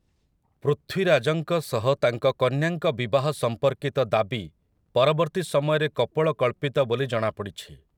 ପୃଥ୍ୱୀରାଜଙ୍କ ସହ ତାଙ୍କ କନ୍ୟାଙ୍କ ବିବାହ ସମ୍ପର୍କିତ ଦାବି ପରବର୍ତ୍ତୀ ସମୟରେ କପୋଳକଳ୍ପିତ ବୋଲି ଜଣାପଡ଼ିଛି ।